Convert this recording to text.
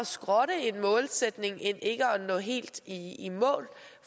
skrotte en målsætning end ikke at nå helt i i mål